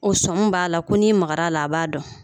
O sɔn m b'a la ko n'i magar'a la a b'a dɔn